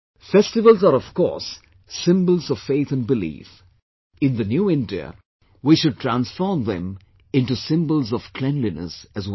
Festivals are of course symbols of faith and belief; in the New India, we should transform them into symbols of cleanliness as well